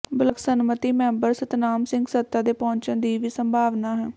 block samiti member Satnam Singh ਸੱਤਾ ਦੇ ਪਹੁੰਚਣ ਦੀ ਵੀ ਸੰਭਾਵਨਾ ਹੈ